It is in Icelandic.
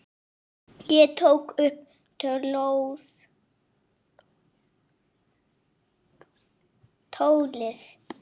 Ég tók upp tólið.